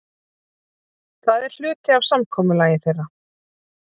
Það er hluti af samkomulagi þeirra.